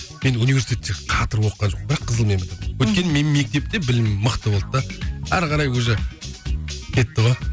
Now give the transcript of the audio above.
мен университетте қатырып оқыған жоқпын бірақ қызылмен бітірдім өйткені мен мектепте білімім мықты болды да ары қарай уже кетті ғой